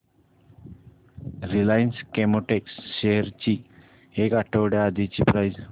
Reliance Chemotex shares ची एक आठवड्या आधीची प्राइस